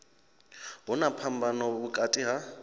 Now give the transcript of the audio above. hu na phambano vhukati ha